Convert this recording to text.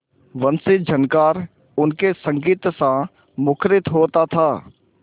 वंशीझनकार उनके संगीतसा मुखरित होता था